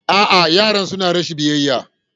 A'a, yaran suna rashin biyayya.